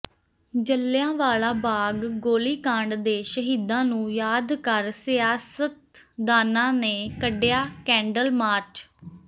ਜਲ੍ਹਿਆਂਵਾਲਾ ਬਾਗ ਗੋਲੀਕਾਂਡ ਦੇ ਸ਼ਹੀਦਾਂ ਨੂੰ ਯਾਦ ਕਰ ਸਿਆਸਤਦਾਨਾਂ ਨੇ ਕੱਢਿਆ ਕੈਂਡਲ ਮਾਰਚ